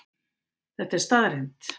Þetta er staðreynd